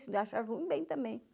Se eles achavam ruim, bem também.